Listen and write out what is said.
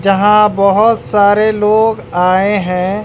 जहां बहोत सारे लोग आए हैं।